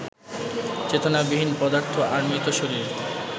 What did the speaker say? চেতনাবিহীন পদার্থ আর মৃত শরীর